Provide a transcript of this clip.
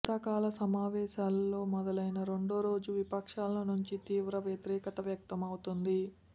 శీతాకాల సమావేశాలు మొదలైన రెండో రోజు విపక్షాల నుంచి తీవ్ర వ్యతిరేకత వ్యక్తం అవుతోంది